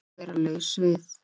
Að vera laus við